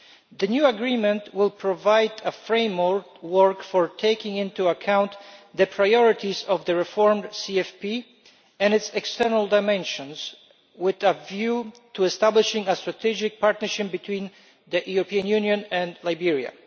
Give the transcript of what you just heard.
The new agreement will provide a framework for taking into account the priorities of the reformed CFP and its external dimensions, with a view to establishing a strategic partnership between the European Union and Liberia.